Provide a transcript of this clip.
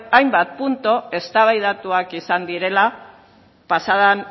hainbat puntu eztabaidatuak izan direla pasa den